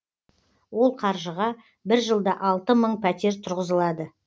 ол қаржыға бір жылда алты мың пәтер тұрғызылады